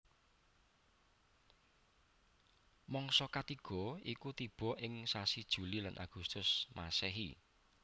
Mangsa katiga iku tiba ing sasi Juli lan Agustus Masehi